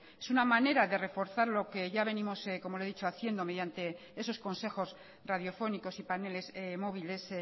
es una manera de reforzar lo que ya venimos como ya le he dicho haciendo mediante esos consejos radiofónicos y paneles móviles